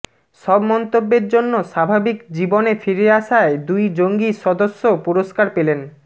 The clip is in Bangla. সব মন্তব্যের জন্য স্বাভাবিক জীবনে ফিরে আসায় দুই জঙ্গি সদস্য পুরস্কার পেলেন